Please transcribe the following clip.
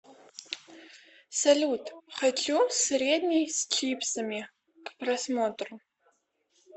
салют хочу средний с чипсами к просмотру